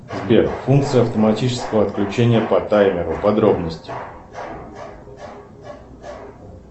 сбер функция автоматического отключения по таймеру подробности